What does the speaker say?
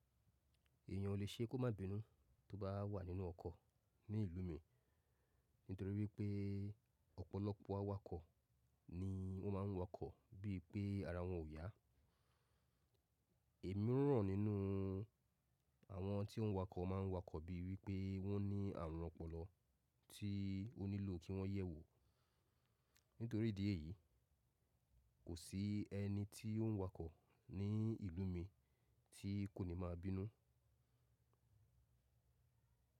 Èeyàn o lè ṣe kó má bínú tó bá wà nínú ọkọ̀ ní ìlú mi nítorí pé ọ̀pọ̀lọpọ̀ awakọ̀ ni wọ́n ma ń wakọ̀ bí i pé ara wọn ò yá. Èmiran nínú àwọn tí ń wakọ̀ máa ń wakọ̀ bí i wípé wọ́n ní àrùn ọpọlọ tí ó nílò kí wọ́n yẹ̀wò. Nítorí ìdí èyí, kò sí ẹni tí ń wakọ̀ ní ìlú mi tí kò ní máa bínú.